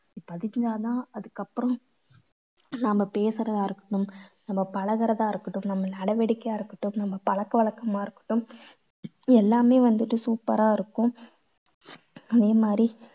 பதிக்கினாதான் அதுக்கப்புறம் நாம பேசற அர்த்தம் நம்ம பழகறதா இருக்கட்டும் நம்ம நடவடிக்கையா இருக்கட்டும் நம்ம பழக்கவழக்கமா இருக்கட்டும் எல்லாமே வந்துட்டு super ஆ இருக்கும். அதே மாதிரி